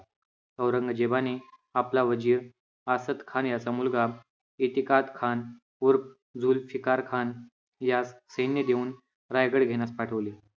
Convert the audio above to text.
औरंगजेबाने आपला वजीर आसदखान याचा मुलगा इतिकाद खान उर्फ जुल्फिकार खान यास सैन्य देऊन रायगड घेण्यास पाठवले.